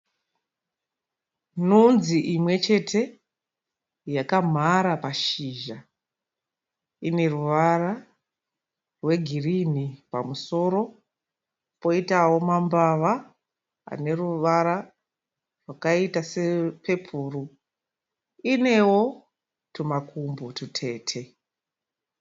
Nzunzi imwechete yakamhara pashizha. Ine ruvara rwegirinhi pamusoro poitawo mambava ane ruvara rwakaita sepepuru, inewo twumakumbo twutete.